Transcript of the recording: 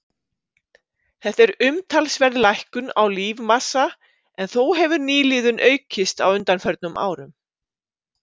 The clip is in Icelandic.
Þetta er umtalsverð lækkun á lífmassa en þó hefur nýliðun aukist á undanförnum árum.